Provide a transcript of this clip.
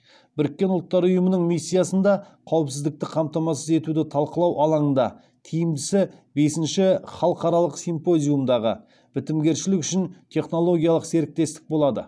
біріккен ұлттар ұйымының миссиясында қауіпсіздікті қамтамасыз етуді талқылау алаңында тиімдісі бесінші халықаралық симпозиумдағы бітімгершілік үшін технологиялық серіктестік болады